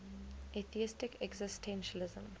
atheistic existentialism